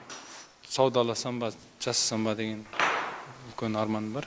саудаласам ба жасасам ба деген үлкен арманым бар